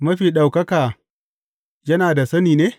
Mafi Ɗaukaka yana da sani ne?